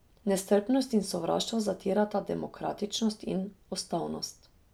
Nestrpnost in sovraštvo zatirata demokratičnost in ustavnost.